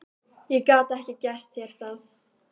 Ég gat ekki gert þér það.